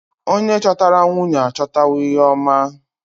Onye chọtara nwunye achọtawo ihe oma.